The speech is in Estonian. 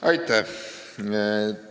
Aitäh!